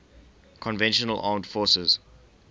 conventional armed forces